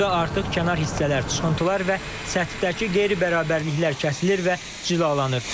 Burda artıq kənar hissələr, çıxıntılar və səthdəki qeyri-bərabərliklər kəsilir və cilalanır.